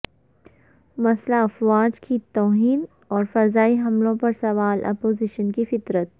مسلح افواج کی توہین اور فضائی حملوں پر سوال اپوزیشن کی فطرت